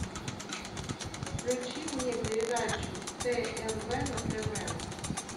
включи мне передачу тнв на тв